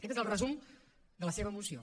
aquest és el resum de la seva moció